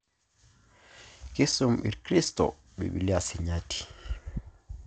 Kiisum irkristo Biblia Sinyati